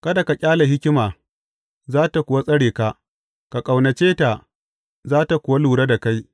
Kada ka ƙyale hikima, za tă kuwa tsare ka; ka ƙaunace ta, za tă kuwa lura da kai.